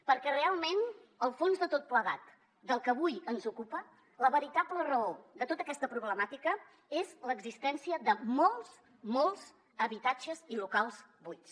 perquè realment el fons de tot plegat del que avui ens ocupa la veritable raó de tota aquesta problemàtica és l’existència de molts molts habitatges i locals buits